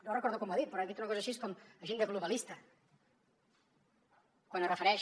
no recordo com ho ha dit però ha dit una cosa així com agenda globalista quan es refereix